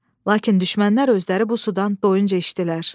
Lakin düşmənlər özləri bu sudan doyunca içdilər.